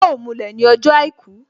Yọ mulẹ̀ ní ọjọ́ àìkú